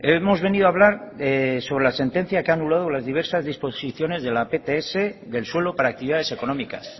hemos venido a hablar sobre la sentencia que anulado las diversas disposiciones de la pts del suelo para actividades económicas